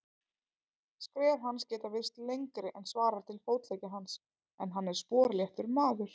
Skref hans geta virst lengri en svarar til fótleggja hans, en hann er sporléttur maður.